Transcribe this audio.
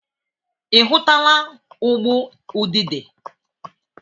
Ị hụtụla ụgbụ udide?